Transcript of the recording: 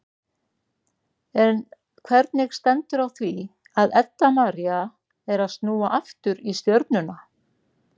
En hvernig stendur á því að Edda María er að snúa aftur í Stjörnuna?